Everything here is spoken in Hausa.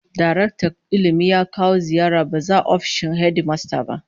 Daraktan Ilmi ya kawo ziyarar ba-zata ofishin hedimasta